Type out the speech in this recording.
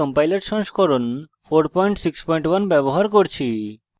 এবং gcc compiler সংস্করণ 461 ব্যবহার করি